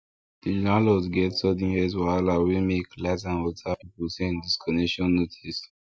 the landlord get sudden health wahala wey make light and water people send disconnection notice